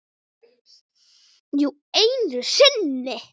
Jú, einu sinni.